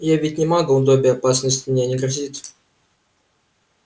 я ведь не магл добби опасность мне не грозит